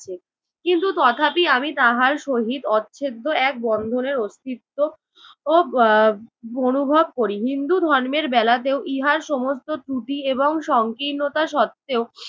কিন্তু তথাপি আমি তাহার সহিত অচ্ছেদ্য এক বন্ধনের অস্তিত্ব ও এর অনুভব করি। হিন্দু ধর্মের বেলাতেও ইহার সমস্ত ত্রুটি এবং সংকীর্ণতা সত্ত্বেও